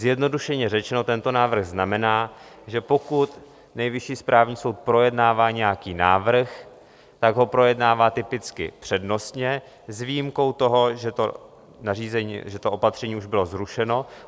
Zjednodušeně řečeno, tento návrh znamená, že pokud Nejvyšší správní soud projednává nějaký návrh, tak ho projednává typicky přednostně s výjimkou toho, že to opatření už bylo zrušeno.